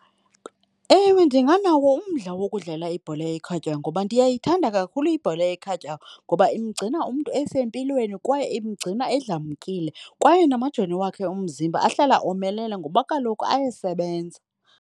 Ewe, ndinganawo umdla wokudlala ibhola ekhatywayo ngoba ndiyayithanda kakhulu ibhola ekhatywayo, ngoba imgcina umntu esempilweni kwaye igcina umntu edlamkile. Kwaye namajoni wakhe omzimba ahlala omelele ngoba kaloku ayasebenza.